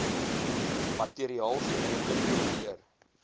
materiaal geredelik kopieer